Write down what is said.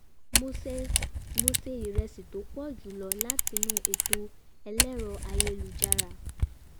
mo se iresi tó pọ̀ ju lọ látinú ètò ẹlẹ́rọ ayélujára